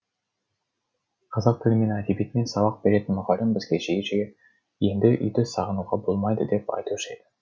қазақ тілі мен әдебиетінен сабақ беретін мұғалімім бізге жиі жиі енді үйді сағынуға болмайды деп айтушы еді